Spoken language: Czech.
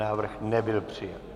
Návrh nebyl přijat.